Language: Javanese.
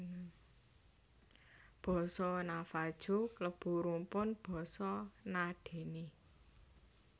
Basa Navajo klebu rumpun basa Na Dene